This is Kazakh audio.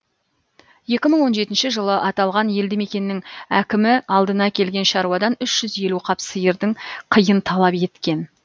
екі мың он жетінші жылы аталған елді мекеннің әкімі алдына келген шаруадан үш жүз елу қап сиырдың қиын талап еткен